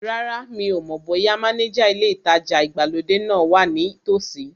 Rárá, mi ò mọ̀ bóyá mánéjà ilé ìtajà ìgbàlódé náà wa ní tòsí